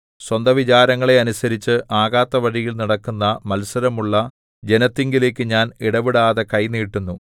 സ്വന്ത വിചാരങ്ങളെ അനുസരിച്ച് ആകാത്ത വഴിയിൽ നടക്കുന്ന മത്സരമുള്ള ജനത്തിങ്കലേക്ക് ഞാൻ ഇടവിടാതെ കൈ നീട്ടുന്നു